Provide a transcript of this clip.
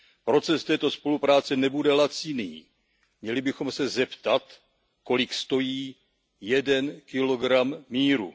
Proces této spolupráce nebude laciný, měli bychom se zeptat, kolik stojí jeden kilogram míru.